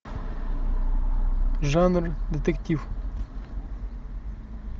жанр детектив